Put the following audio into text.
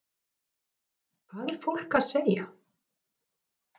Hugrún Halldórsdóttir: Hvað er fólk að segja?